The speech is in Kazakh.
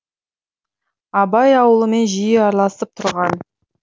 абай аулымен жиі араласып тұрған